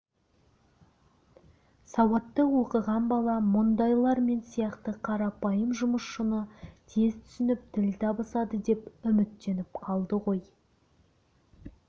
сауатты оқыған бала мұндайлар мен сияқты қарапайым жұмысшыны тез түсініп тіл табысады деп үміттеніп қалды ғой